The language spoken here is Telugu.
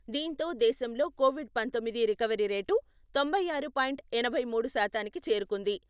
దీంతో దేశంలో కొవిడ్ పంతొమ్మిది రికవరీ రేటు తొంభై ఆరు పాయింట్ ఎనభై మూడు శాతానికి చేరుకుంది.